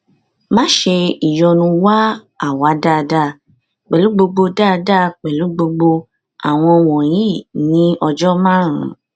pẹlupẹlu lo omi ṣan ni agbegbe ati ṣe awọn radios ati mri ti ẹhin ati ẹhin